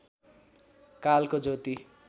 कालको ज्योति